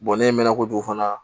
ne ye mɛn kojugu fana